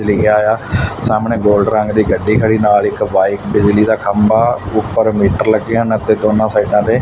ਲਿਖਿਆ ਆ ਸਾਹਮਣੇ ਗੋਲਡ ਰੰਗ ਦੀ ਗੱਡੀ ਖੜੀ ਨਾਲ ਇੱਕ ਬਾਈਕ ਬਿਜਲੀ ਦਾ ਖੰਭਾ ਉੱਪਰ ਮੀਟਰ ਲੱਗੇ ਹਨ ਅਤੇ ਦੋਨਾਂ ਸਾਈਡਾਂ ਤੇ।